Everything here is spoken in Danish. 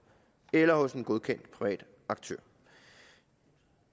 eller hos en godkendt privat aktør